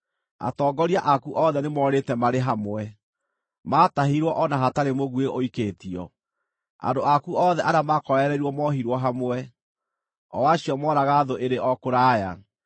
Atongoria aku othe nĩmorĩte marĩ hamwe; maatahirwo o na hatarĩ mũguĩ ũikĩtio. Andũ aku othe arĩa maakorereirwo moohirwo hamwe, o acio mooraga thũ ĩrĩ o kũraya.